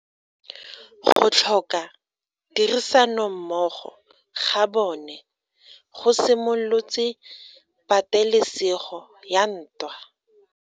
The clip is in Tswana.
Go tlhoka tirsanommogo ga bone go simolotse patelesego ya ntwa.